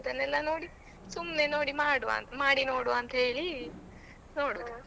ಅದನ್ನೆಲ್ಲಾ ನೋಡಿ ಸುಮ್ನೆ ನೋಡಿ ಮಾಡ್ವ ಮಾಡಿ ನೋಡ್ವ ಅಂತ ಹೇಳಿ ನೋಡುದು.